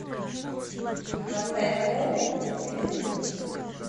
поставь хоум на телевизоре